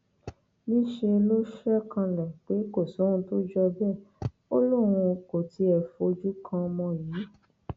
níṣẹ ló ṣe kanlẹ pé kò sóhun tó jọ bẹẹ ó lóun kò tiẹ fojú kan ọmọ yìí